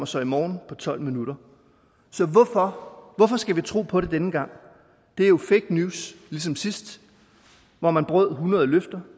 så i morgen på tolv minutter så hvorfor hvorfor skal vi tro på det denne gang det er jo fake news ligesom sidst hvor man brød hundrede løfter